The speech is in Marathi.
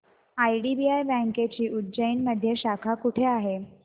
आयडीबीआय बँकेची उज्जैन मध्ये शाखा कुठे आहे